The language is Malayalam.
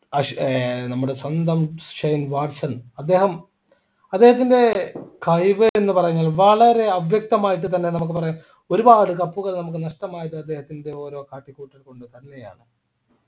ആഷ് ഏർ നമ്മുടെ സ്വന്തം ഷൈൻ വാട്സൺ അദ്ദേഹം അദ്ദേഹത്തിൻ്റെ കഴിവ് എന്ന് പറയുന്നത് വളരെ അവ്യക്തമായിട്ട് തന്നെ നമുക്ക് പറയാം ഒരുപാട് cup ൾ നമുക്ക് നഷ്ടമായത് അദ്ദേഹത്തിൻ്റെ ഓരോ കാട്ടിക്കൂട്ടൽ കൊണ്ടുതന്നെയാണ്